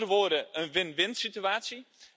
Met andere woorden, een win winsituatie.